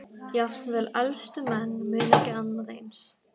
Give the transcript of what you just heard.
Jafnvel elstu menn muna ekki annað eins.